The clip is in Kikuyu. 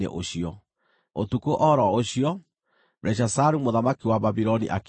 Ũtukũ o ro ũcio, Belishazaru mũthamaki wa Babuloni akĩũragwo,